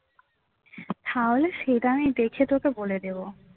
তাহলে সেটা আমি দেখে তোকে বলে দেব